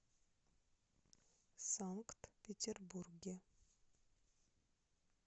санкт петербурге